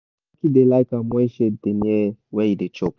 jacky da like am when shade da near where e da chop